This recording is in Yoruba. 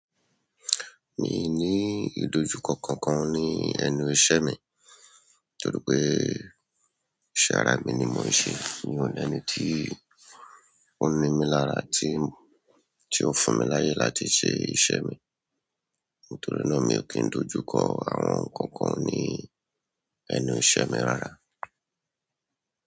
Mii ni idojuko kankan ni ẹnu iṣẹ́ mi toripe iṣẹ́ ara mi ni mo n se. Mi ò ní ẹni tí ó ń mí lára tí, tí ó fún mi láyè láti ṣe iṣẹ́ mi. Nítorí náà mi ò kín dojú kọ àwọn nǹkan kan ní ẹnu iṣẹ́ mi rárá.